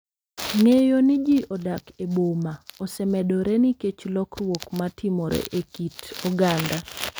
Ng’eyo ni ji odak e boma osemedore nikech lokruok ma timore e kit oganda.